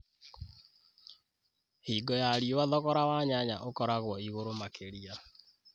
Hingo ya riũwa thogora wa nyanya ũkoragwo ĩgũrũ makĩria.